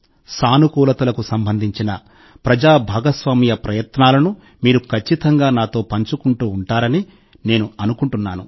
సానుకూలతకు సంబంధించిన ప్రజా భాగస్వామ్య ప్రయత్నాలను మీరు ఖచ్చితంగా నాతో పంచుకుంటూ ఉంటారని నేను ఖచ్చితంగా అనుకుంటున్నాను